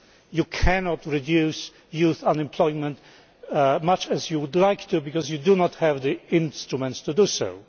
You cannot reduce youth unemployment much as you would like to because you do not have the instruments to do so.